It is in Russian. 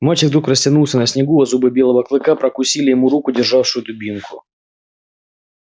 мальчик вдруг растянулся на снегу а зубы белого клыка ггрокусили ему руку державшую дубинку